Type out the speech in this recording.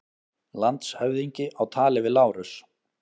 Landshöfðingi á tali við Lárus.